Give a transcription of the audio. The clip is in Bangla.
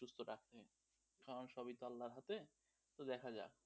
কারণ সবই তো আল্লাহর হাতে, তো দেখা যাক.